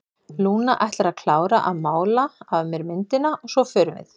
Lúna ætlar að klára að mála af mér myndina og svo förum við.